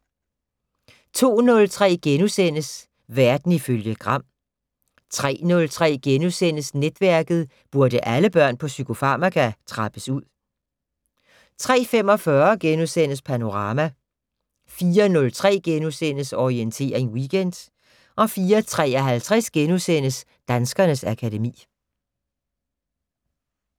02:03: Verden ifølge Gram * 03:03: Netværket: Burde alle børn på psykofarmaka trappes ud? * 03:45: Panorama * 04:03: Orientering Weekend * 04:53: Danskernes akademi *